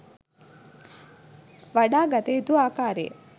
වඩා ගත යුතු ආකාරය